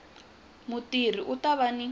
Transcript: mutirhi u ta va ni